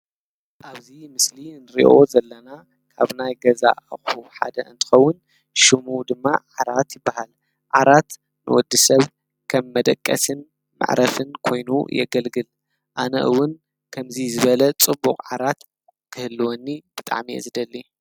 ኣብዙይ ምስሊ እንርእዮ ዘለና ካብ ናይ ገዛ ኣኹ ሓደ እንትኸውን ሹሙ ድማ ዓራት ይበሃል ዓራት ንወዲ ሰብ ከም መደቀስን ማዕረፍን ኮይኑ የገልግል ኣነእውን ከምዙይ ዝበለ ጽቡቕ ዓራት ክህልወኒ ብጣሚየዝደሊ።